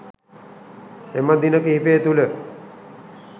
එම දින කිහිපය තුළ